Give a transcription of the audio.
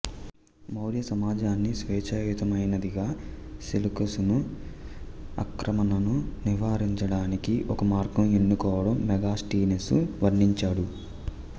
మౌర్య సమాజాన్ని స్వేచ్ఛాయుతమైనదిగా సెలూకసును ఆక్రమణను నివారించడానికి ఒక మార్గం ఎన్నుకోవడం మెగాస్టీనెసు వర్ణించాడు